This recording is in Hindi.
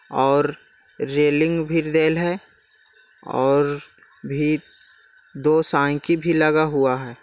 और रेलिंग भी रेल है और भी दो साइकिल भी लगा हुआ है।